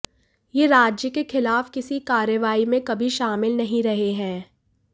ये राज्य के खिलाफ किसी कार्रवाई में कभी शामिल नहीं रहे हैं